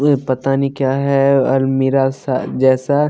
यह पता नहीं क्या है और मिरा-सा जैसा--